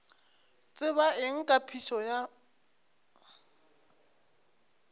tseba eng ka phišo ya